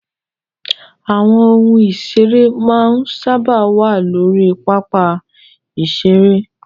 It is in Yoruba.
Àwọn ohun ìseré máa ń sáábà wà lórí pápá ìseré